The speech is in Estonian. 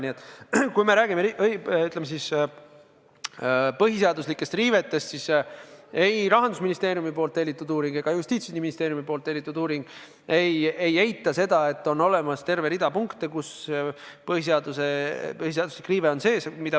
Nii et kui me räägime põhiseaduslikest riivetest, siis ei Rahandusministeeriumi tellitud uuring ega Justiitsministeeriumi tellitud uuring ei eita seda, et on olemas terve rida punkte, mille puhul põhiseaduse riive on olemas.